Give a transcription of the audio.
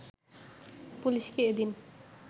পুলিশকে এদিন